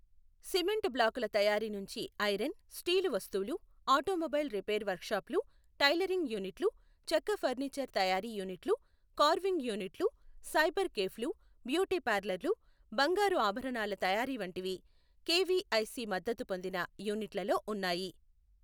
Cement బ్లాకుల తయారీ నుంచి ఐరన్, స్టీలు వస్తువులు, ఆటోమొబైల్ రిపేర్ వర్క్షాపులు, టెయిలరింగ్ యూనిట్లు, చెక్క ఫఱ్నీచర్ తయారీ యూనిట్లు, కార్వింగ్ యూనిట్లు, సైబర్ కేఫ్లు, బ్యూటీ పార్లర్లు, బంగారు ఆభరణాల తయారీ వంటివి కెవిఐసి మద్దతు పొందిన యూనిట్లలో ఉన్నాయి.